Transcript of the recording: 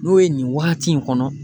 N'o ye nin waati in kɔnɔ